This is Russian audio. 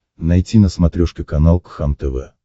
найти на смотрешке канал кхлм тв